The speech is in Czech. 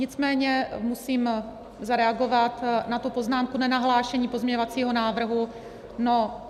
Nicméně musím zareagovat na tu poznámku nenahlášení pozměňovacího návrhu.